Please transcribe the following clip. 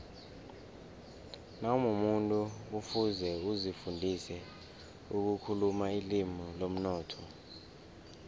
nawumumuntu kufuze uzifundise ukukhuluma ilimi lomnotho